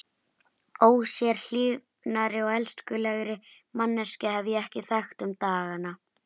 Ósérhlífnari og elskulegri manneskju hef ég ekki þekkt um dagana.